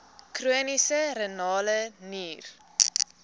chroniese renale nier